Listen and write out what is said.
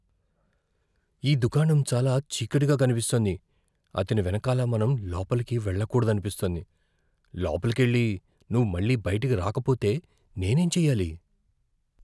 ఈ దుకాణం చాలా చీకటిగా కనిపిస్తోంది. అతని వెనకాల మనం లోపలికి వెళ్లకూడదనిపిస్తోంది. లోపలికెళ్లి నువ్వు మళ్ళీ బయటకి రాకపోతే నేనేం చెయ్యాలి?